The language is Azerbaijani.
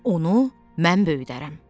Onu mən böyüdərəm.